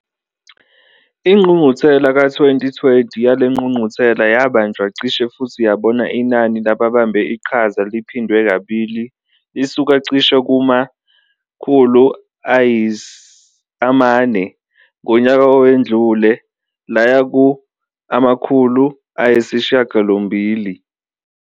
Ingqungquthela ka-2020 yale ngqungquthela yabanjwa cishe futhi yabona inani lababambe iqhaza liphindwe kabili lisuka cishe kuma-400 ngonyaka owedlule laya ku-800.